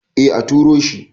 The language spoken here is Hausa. eh a turo shi